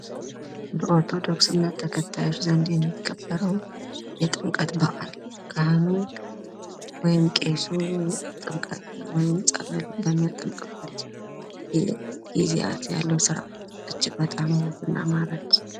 በ ኦርቶዶክስ እምነት ተከታዮች ዘንድ የሚከበረው የጥምቀት በዓል ።ወይም ቄሱ ፀበል ጥምቀት በሚያጠምቅበትጊዜያት ያለው ስርዓት እጅግ በጣም ውብ እና ማራኪ ።